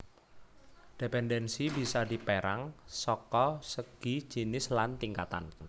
Dependensi bisa dipérang saka segi jinis lan tingkatan